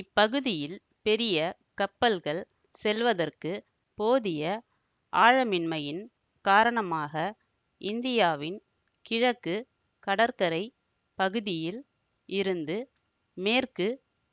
இப்பகுதியில் பெரிய கப்பல்கள் செல்வதற்கு போதிய ஆழமின்மையின் காரணமாக இந்தியாவின் கிழக்கு கடற்கரை பகுதியில் இருந்து மேற்கு